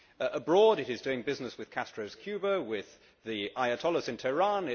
Abroad it is doing business with Castro's Cuba, with the Ayatollahs in Tehran